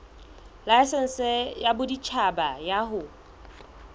laesense ya boditjhaba ya ho